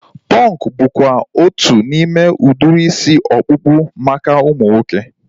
Punk bụkwa otu n'ime udiri isi ọkpụkpụ maka ụmụ nwoke